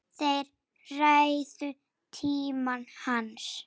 Þeir réðu tíma hans.